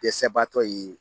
Dɛsɛbaatɔ ye